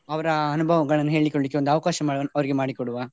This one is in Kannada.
ಅವರ ಅನುಭವಗಳನ್ನು ಹೇಳ್ಲಿಕೊಲಿಕ್ಕೆ ಒಂದು ಅವಕಾಶ ಮಾ~ ಅವರಿಗೆ ಮಾಡಿ ಕೊಡುವ.